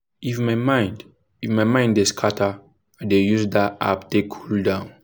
if my mind if my mind dey scatter i dey use that app take cool down